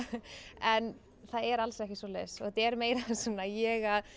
en það er alls ekki svoleiðis þetta er meira svona ég